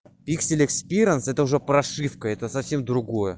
пиксель экспириенс это уже прошивка это совсем другое